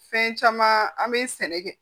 Fɛn caman an bɛ sɛnɛ kɛ